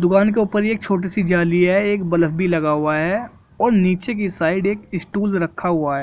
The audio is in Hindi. दुकान के ऊपर एक छोटी सी जाली है एक बल्ब भी लगा हुआ है और नीचे की साइड एक स्टॉल रखा हुआ है।